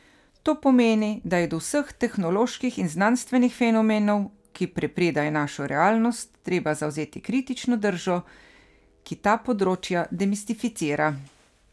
To pomeni, da je do vseh tehnoloških in znanstvenih fenomenov, ki prepredajo našo realnost, treba zavzeti kritično držo, ki ta področja demistificira.